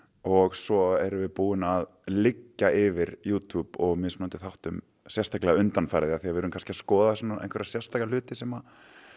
og svo erum við búin að liggja yfir Youtube og mismunandi þáttum sérstaklega undanfarið af því að við erum kannski að skoða svona einhverja sérstaka hluti sem